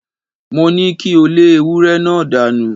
Mo ní kí o lé ewúré náà dánù!